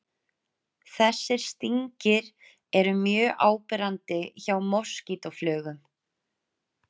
Þessir stingir eru mjög áberandi hjá moskítóflugum.